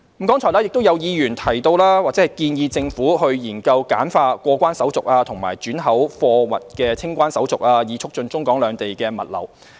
剛才亦有議員建議政府研究簡化過關手續及轉口貨物的清關手續，以促進中港兩地的物流。